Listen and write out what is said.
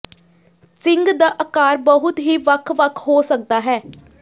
ਸਿੰਗ ਦਾ ਆਕਾਰ ਬਹੁਤ ਹੀ ਵੱਖ ਵੱਖ ਹੋ ਸਕਦਾ ਹੈ